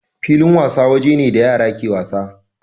Filin wasa waje ne da yara ke wasa.